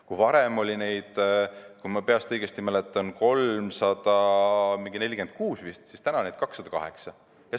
Kui varem oli neid, kui ma õigesti mäletan, 346, siis nüüd on neid 208.